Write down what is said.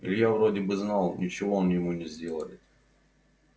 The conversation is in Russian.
илья вроде бы знал ничего он ему не сделает